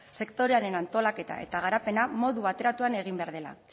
sektorearen antolaketa eta garapena modu bateratuan egin behar dela